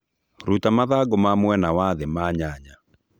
rũta mathangũ ma mwena wa thĩ ma nyanya